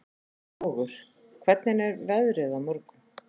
Vogur, hvernig er veðrið á morgun?